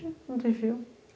Não tem fio.